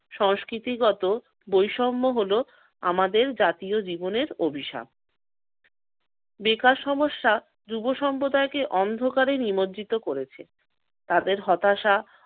সংস্কৃতিগত বৈষম্য হল আমাদের জাতীয় জীবনের অভিশাপ। বেকার সমস্যা যুব সম্প্রদায়কে অন্ধকারে নিমজ্জিত করেছে। তাদের হতাশা